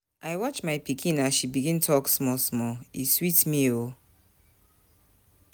I watch my pikin as she begin talk small-small, e sweet me o.